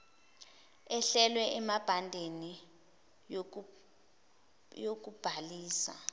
ehlelwe emibandeleni yokubhalisa